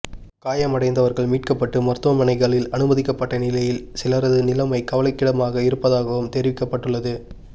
காயமடைந்தவர்கள் மீட்கப்பட்டு மருத்துவமனைகளில் அனுமதிக்கப்பட்ட நிலையில் சிலரது நிலைமை கவலைக்கிடமாக இருப்பதாகவும் தெரிவிக்கப்பட்டுள்ளது